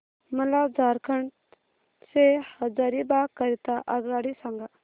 मला झारखंड से हजारीबाग करीता आगगाडी सांगा